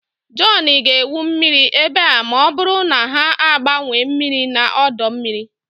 John ga-egwu mmiri ebe a ma ọ bụrụ na ha agbanwee mmiri na ọdọ mmiri